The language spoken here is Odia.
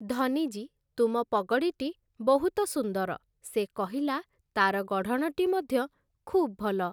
ଧନୀଜୀ, ତୁମ ପଗଡ଼ିଟି ବହୁତ ସୁନ୍ଦର ସେ କହିଲା, ତାର ଗଢ଼ଣଟି ମଧ୍ୟ ଖୁବ୍ ଭଲ ।